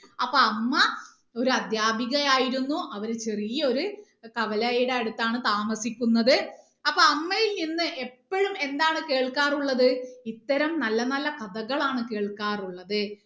അപ്പൊ അമ്മ ഒരു അധ്യാപികയായിരുന്നു അവര് ചെറിയ ഒരു കവലയുടെ അടുത്താണ് താമസിക്കുന്നത് അപ്പൊ അമ്മയിൽ നിന്ന് എപ്പോഴും എന്താണ് കേൾക്കാറുള്ളത് ഇത്തരം നല്ല നല്ല കഥകളാണ് കേൾക്കാറുള്ളത്